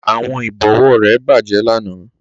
Àwọn ìbọ̀wọ́ rẹ̀ bàjẹ́ lánàá